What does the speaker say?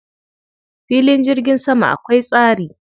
Filin jirgin sama akwai tsari.